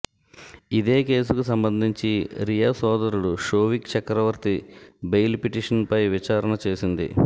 ఇదే కేసుకు సంబంధించి రియా సోదరుడు షోవిక్ చక్రవర్తి బెయిల్ పిటిషన్పై విచారణ చేసింది